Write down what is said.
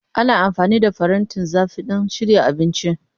Ana amfani da farantin zafi don shirya abinci.